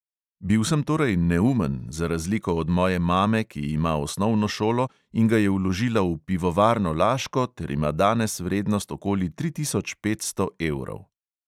Bil sem torej neumen, za razliko od moje mame, ki ima osnovno šolo in ga je vložila v pivovarno laško ter ima danes vrednost okoli tri tisoč petsto evrov.